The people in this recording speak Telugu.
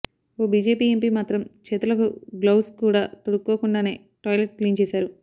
ఓ బీజేపీ ఎంపీ మాత్రం చేతులకు గ్లౌవ్స్ కూడా తొడుక్కోకుండానే టాయిలెట్ క్లీన్ చేశారు